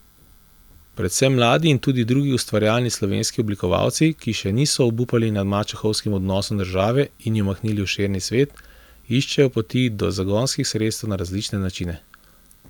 Predvsem mladi in tudi drugi ustvarjalni slovenski oblikovalci, ki še niso obupali nad mačehovskim odnosom države in jo mahnili v širni svet, iščejo poti do zagonskih sredstev na različne načine.